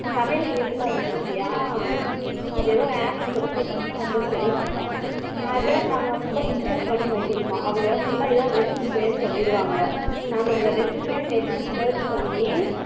சமயல் குறிப்புலாம் இருக்கு பத்தியா அது ஏதோ app சொல்லிறுவாங்களோ தெரியல அது என்ன app தெரியல அத நம்ம full install பண்ணி வைக்கணுமாம் அவங்க full ஏதோ recipe பேர் சொல்லிறுவாங்க நாம அந்த recipe net ல search பண்ணி